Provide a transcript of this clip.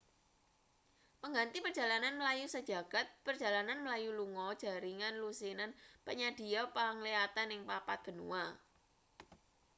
pengganti perjalanan mlayu sajagad perjalanan mlayu lunga jaringan lusinan panyadhiya penglihatan ing papat benua